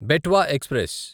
Betwa express